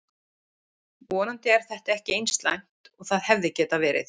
Vonandi er þetta ekki eins slæmt og það hefði geta verið.